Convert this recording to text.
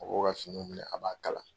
A b'o ka finiw minɛ a b'a kala.